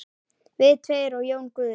Við tveir og Jón Guðni.